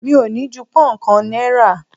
Mi ò ní ju pón kàn náírà.